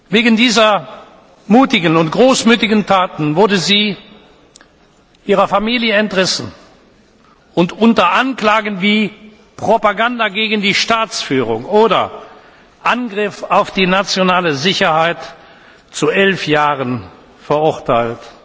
Wegen dieser mutigen und großmütigen Taten wurde sie ihrer Familie entrissen und unter Anklagen wie Propaganda gegen die Staatsführung oder Angriff auf die nationale Sicherheit zu elf Jahren verurteilt.